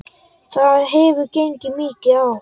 Það hefur gengið mikið á!